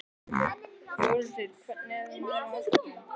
Þórhildur: Hvað ert þú núna á öskudaginn?